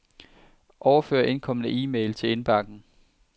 Overfør indkomne e-mail til indbakken.